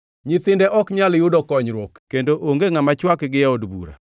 Nyithinde ok nyal yudo konyruok kendo onge ngʼama chwakgi e od bura.